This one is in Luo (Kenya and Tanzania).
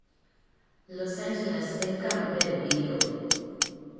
los angeles en kama ber biro